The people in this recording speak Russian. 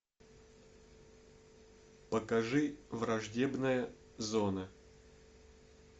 покажи враждебная зона